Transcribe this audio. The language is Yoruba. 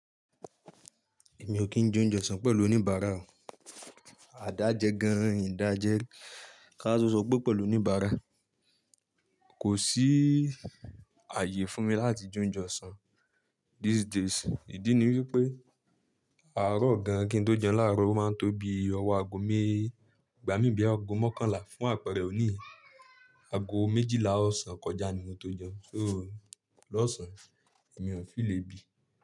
Èmi ò kí ń je óunje ọ̀ṣan pẹ̀lú oníbàárà Àdá jẹ gan-an ìn dájẹ́ ri, ká wa tó sọ pé pẹ̀lú oníbàárà. Kò sí ààyè fún mi láti je ounje ọ̀ṣan these days. Ìdí ni wípé àárọ̀ gan kí n tó jẹun láàárọ̀ ó máa ń tó bí ọwọ́ aago me, ìgbà mí boya aago mọ́kànlá fún àpẹẹrẹ òni yii aago méjìlá ọ̀sán kọjá ni mo tó jẹun. So lọ́sàn-án èmi ò n feel èbi.